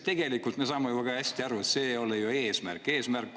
Tegelikult me saame ju väga hästi aru, et ei ole ju eesmärk.